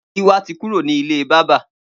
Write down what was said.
Giwa ti kúró ni ilé bàbà